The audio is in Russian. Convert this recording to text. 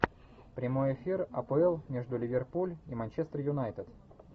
прямой эфир апл между ливерпуль и манчестер юнайтед